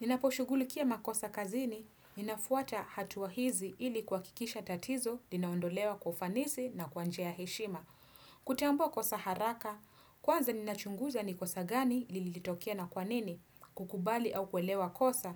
Ninaposhughulikia makosa kazini, inafuata hatua hizi ili kuakikisha tatizo, linaondolewa kwa ufanisi na kwa njia ya heshima. Kutambua kosa haraka, kwanza ninachunguza ni kosa gani lilitokea na kwanini, kukubali au kuelewa kosa,